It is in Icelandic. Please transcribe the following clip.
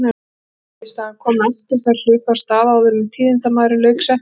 Óvíst að hann komi aftur. Þær hlupu af stað áður en tíðindamaðurinn lauk setningunni.